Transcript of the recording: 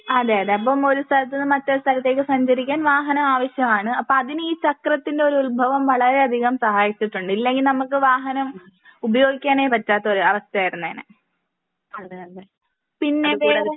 അതെ അതെ അപ്പൊ ഒരു സ്ഥലത്ത് നിന്ന് മറ്റൊരു സ്ഥലത്തേക്ക് സഞ്ചരിക്കാൻ വാഹനം ആവശ്യമാണ്. അപ്പൊ അതിന് ഈ ചക്രത്തിന്റെ ഈ ഒരു ഉത്ഭവം വളരെ അധികം സഹായിച്ചിട്ടുണ്ട്. ഇല്ലെങ്കി നമുക്ക് വാഹനം ഉപയോഗിക്കാനേ പറ്റാത്ത ഒരു അവസ്ഥയായിരുന്നേനെ. പിന്നെ അതെ പോലെ